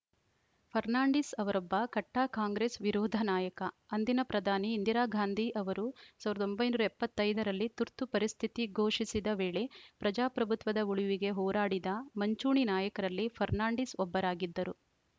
ಫರ್ನಾಂಡಿಸ್‌ ಅವರೊಬ್ಬ ಕಟ್ಟಾಕಾಂಗ್ರೆಸ್‌ ವಿರೋಧ ನಾಯಕ ಅಂದಿನ ಪ್ರಧಾನಿ ಇಂದಿರಾಗಾಂಧಿ ಅವರು ಸಾವಿರದ ಒಂಬೈನೂರ ಎಪ್ಪತ್ತ್ ಐದ ರಲ್ಲಿ ತುರ್ತು ಪರಿಸ್ಥಿತಿ ಘೋಷಿಸಿದ ವೇಳೆ ಪ್ರಜಾಪ್ರಭುತ್ವದ ಉಳಿವಿಗೆ ಹೋರಾಡಿದ ಮಂಚೂಣಿ ನಾಯಕರಲ್ಲಿ ಫರ್ನಾಂಡಿಸ್‌ ಒಬ್ಬರಾಗಿದ್ದರು